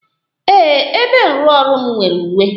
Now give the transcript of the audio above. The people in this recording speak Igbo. Ee, ebe nrụọrụ m nwere uwe.